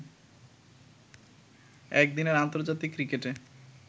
একদিনের আন্তর্জাতিক ক্রিকেটে